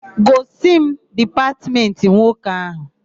Gosi m dipatmentị nwoke áhụ̀!